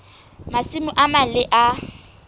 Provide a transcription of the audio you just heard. masimo a mang le a